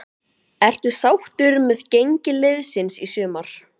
Ertu sáttur með gengi liðsins í sumar?